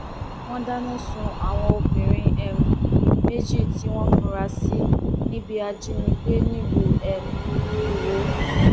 wọn dáná sun àwọn obìnrin um méjì tí wọn fura sí bíi ajínigbé nílùú um iwọ